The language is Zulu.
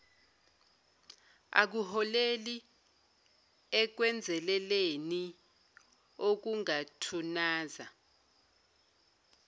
akuholeli ekwenzeleleni okungathunaza